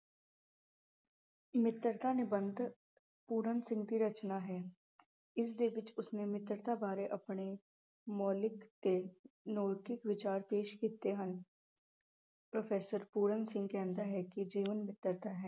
ਮਿੱਤਰਤਾ ਨਿਬੰਧ ਪੂਰਨ ਸਿੰਘ ਦੀ ਰਚਨਾ ਹੈ, ਇਸਦੇ ਵਿਚ ਉਸਨੇ ਮਿੱਤਰਤਾ ਬਾਰੇ ਆਪਣੇ ਮੌਲਿਕ ਤੇ ਨੈਤਿਕ ਵਿਚਾਰ ਪੇਸ਼ ਕੀਤੇ ਹਨ ਪ੍ਰੋਫੈਸਰ ਪੂਰਨ ਸਿੰਘ ਕਹਿੰਦਾ ਹੈ ਕਿ ਜੀਵਨ ਮਿੱਤਰਤਾ ਹੈ।